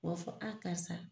U b'a fɔ a karisa